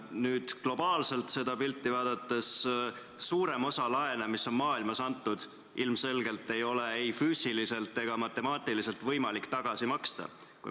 Kui globaalselt seda pilti vaadata, siis suuremat osa laene, mis on maailmas antud, ilmselgelt ei ole ei füüsiliselt ega matemaatiliselt võimalik tagasi maksta.